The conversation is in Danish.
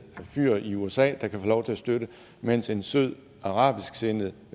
fyr i usa der kan få lov til at støtte mens en sød arabisksindet